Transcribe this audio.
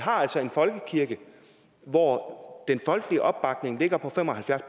altså en folkekirke hvor den folkelige opbakning ligger på fem og halvfjerds